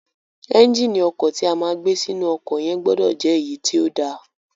Ẹ́ńgìnì ọkọ̀ ti a máa gbé sínú ọkọ̀ yẹn gbọdọ̀ jẹ́ èyí tí ó da.